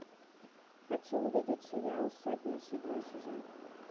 хочу увидеть сериал сотня седьмой сезон